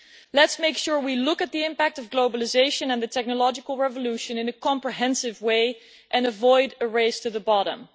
Let us make sure we look at the impact of globalisation and the technological revolution in a comprehensive way and avoid a race to the bottom.